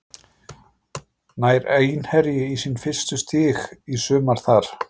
Nær Einherji í sín fyrstu stig í sumar þar?